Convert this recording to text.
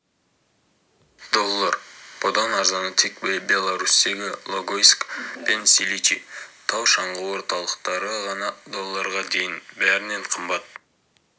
доллар бұдан арзаны тек беларусьтегі логойск пен силичи тау-шаңғы орталықтары ғана долларға дейін бәрінен қымбаты